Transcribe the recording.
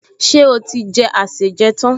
Ṣé ó ti jẹ àsèjẹ tán?